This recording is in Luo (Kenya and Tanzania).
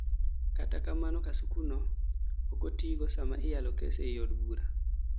kata kamano kasukuno oko tigo sama iyalo kes ei od bura